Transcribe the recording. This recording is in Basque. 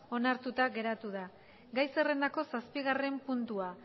onartuta geratu da gai zerrendako zazpigarren puntua